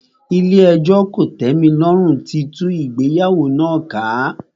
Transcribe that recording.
Ilé ẹjọ́ kòtẹ́milọ́rùn tí tú ìgbéyàwó náà ká.